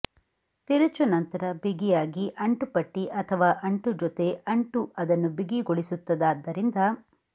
ತಿರುಚು ನಂತರ ಬಿಗಿಯಾಗಿ ಅಂಟುಪಟ್ಟಿ ಅಥವಾ ಅಂಟು ಜೊತೆ ಅಂಟು ಅದನ್ನು ಬಿಗಿಗೊಳಿಸುತ್ತದಾದರಿಂದ